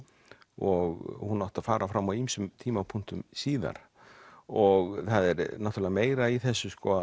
og hún átti að fara fram á ýmsum tímapunktum síðar og það er náttúrulega meira í þessu sko